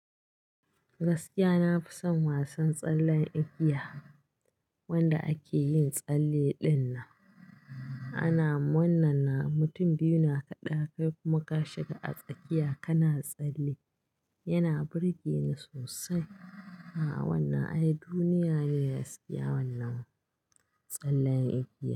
Gaskiya na fi son wasan tsallen igiya wanda ake yin tsalle dinnan. Ana wannan na mutum biyu na kaɗa kai kuma ka shiga a tsakiya kana tsalle. Yana burge ni sosai. A'a, wannan ai duniya ne gaskiya wannan tsallen igiya.